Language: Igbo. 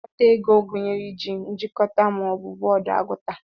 Ngụkọta ego gụnyere iji "nchikota" ma ọ bụ bọọdụ agụta.